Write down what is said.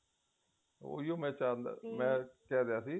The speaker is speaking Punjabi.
ਉਹੀ ਮੈਂ ਚਾਹੁੰਦਾ ਮੈਂ ਕਿਹ ਰਿਹਾ ਸੀ